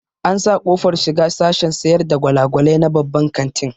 An sa ƙofar shiga sashen sayar da gwalagwalai na babban kantin